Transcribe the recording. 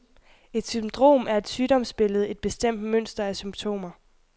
Et syndrom er et sygdomsbillede, et bestemt mønster af symptomer.